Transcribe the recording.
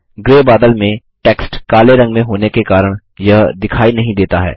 grey बादल में text काले रंग में होने के काऱण यह दिखाई नहीं देता है